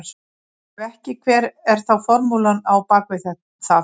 Ef ekki hver er þá formúlan á bak við það?